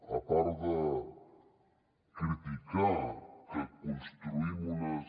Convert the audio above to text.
a part de criticar que construïm unes